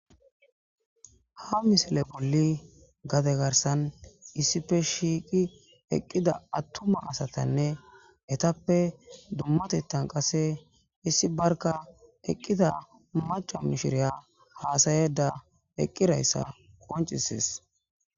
ha misile bolli gade garsan issife shiiqi eqqida attuma asatanne etappe dummatettan qasse issi barka eqqida maca mishiriya haasayeda eqqirayssa qoncisis